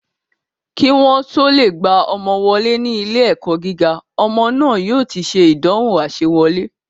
Kí wọ́n o tó lè gba ọmọ wọlé ní ilé ẹ̀kọ́ gíga, ọmọ náà yóò ti se ìdánwò àsewọlé